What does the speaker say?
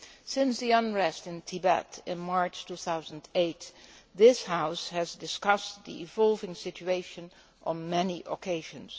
Since the unrest in Tibet in March 2008, this House has discussed the evolving situation on many occasions.